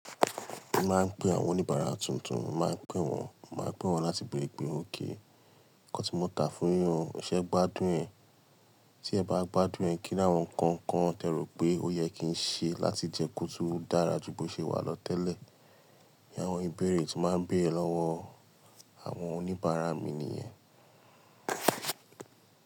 Mo máa ń pe àwọn oníbàárà tuntun, màá pè wọ́n, màá pè wọ́n láti bèrè pe òkay Nǹkan tí mo tà fún yín o, ṣẹ́ gbádùn ẹ́. Tí ẹ bá gbádùn ẹ́, kí ní àwọn nǹkan kan tẹ rò pé ó yẹ kí n ṣe láti jẹ́ kó tó dára ju bo ṣe wà lọ tẹ́lẹ̀. Bí àwọn ìbéèrè tí màá bére lọ́wọ́ àwọn oníbàárà mi nìyẹn.